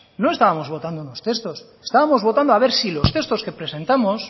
no estábamos votando unos textos estábamos votando a ver si los textos que presentamos